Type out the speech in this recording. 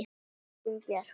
Katrín Björk.